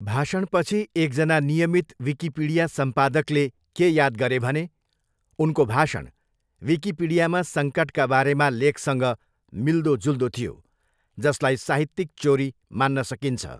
भाषणपछि एकजना नियमित विकिपिडिया सम्पादकले के याद गरे भने, उनको भाषण विकिपीडियामा सङ्कटका बारेमा लेखसँग मिल्दोजुल्दो थियो, जसलाई साहित्यिक चोरी मान्न सकिन्छ।